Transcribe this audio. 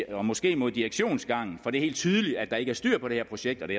og måske mod direktionsgangen for det er helt tydeligt at der ikke er styr på det her projekt og det